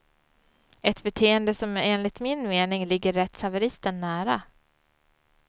Ett beteende som enligt min mening ligger rättshaveristen nära.